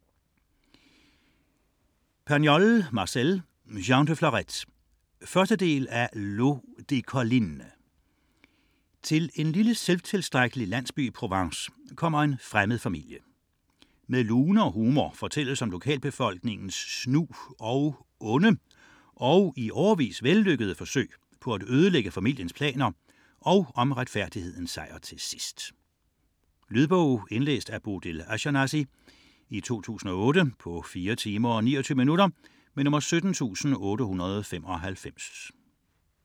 82 Pagnol, Marcel: Jean de Florette 1. del af L'eau des collines. Til en lille selvtilstrækkelig landsby i Provence kommer en fremmed familie. Med lune og humor fortælles om lokalbefolkningens snu og onde - og i årevis vellykkede - forsøg på at ødelægge familiens planer og om retfærdighedens sejr til sidst. Lydbog 17885 Indlæst af Bodil Ashjenazy, 2008. Spilletid: 4 timer, 29 minutter.